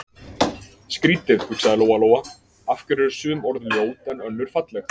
Skrýtið, hugsaði Lóa-Lóa, af hverju eru sum orð ljót en önnur falleg?